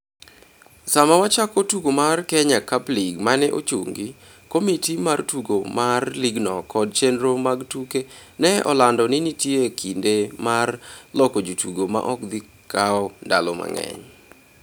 Sama wachako tugo mar Kenya Cup League ma ne ochungi, komiti mar tugo mar ligno kod chenro mag tuke ne olando ni nitie kinde mar loko jotugo ma ok dhi kawo ndalo mang'eny.